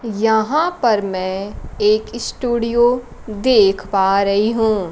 यहां पर मैं एक स्टूडियो देख पा रही हूं।